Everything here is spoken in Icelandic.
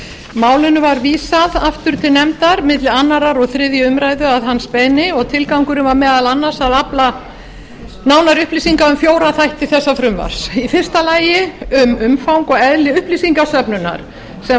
málinu var vísað aftur til nefndar milli annars og þriðju umræðu að hans beiðni og tilgangurinn var meðal annars að afla nánari upplýsinga um fjóra þætti þessa frumvarps í fyrsta lagi um umfang og eðli upplýsingasöfnunar sem varnarmálastofnun